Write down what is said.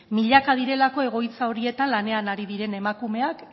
milaka direlako egoitza horietan lanean ari diren emakumean